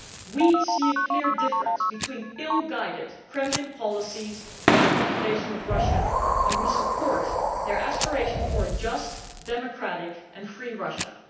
We see a clear difference between ill guided Kremlin policies and the population of Russia, and we support their aspiration for a just, democratic and free Russia.